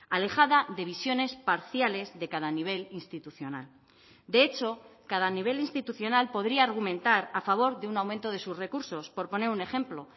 alejada de visiones parciales de cada nivel institucional de hecho cada nivel institucional podría argumentar a favor de un aumento de sus recursos por poner un ejemplo